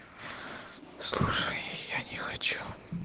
слушай я не хочу